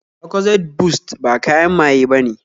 Lucozade Boost ba kayan maye bane